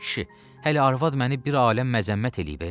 Ay kişi, hələ arvad məni bir aləm məzəmmət eləyib e.